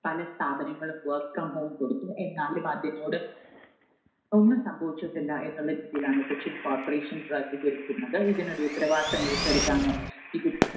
പല സ്ഥാപനങ്ങളും work from home കൊടുത്തു, എന്നാലും അതിനോട് ഒന്നും സംഭവിച്ചിട്ടില്ല എന്നുള്ള രീതിയിലാണ് കൊച്ചിൻ corporation പ്രതികരിക്കുന്നത്. ഇതിനൊരു ഉത്തരവാദിത്വം ഏറ്റെടുക്കാനോ ഇത്